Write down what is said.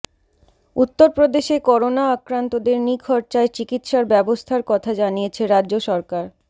উত্তরপ্রদেশে করোনা আক্রান্তদের নিখরচায় চিকিৎসার ব্যবস্থার কথা জানিয়েছে রাজ্য সরকার